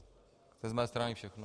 To je z mé strany všechno.